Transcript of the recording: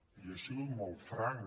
jo he sigut molt franc